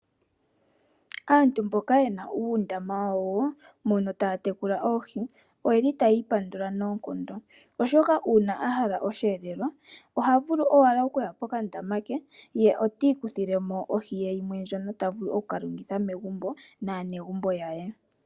Aantu mboka ye na uundama wawo mono taya tekula oohi oye li haya ipandula noonkondo, oshoka uuna ya hala oshiyelelwa ohaa vulu ashike okuya mokandaama e taa kutha mo oohi ya lye pamwe naanegumbo.